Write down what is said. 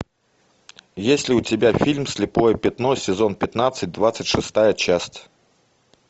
есть ли у тебя фильм слепое пятно сезон пятнадцать двадцать шестая часть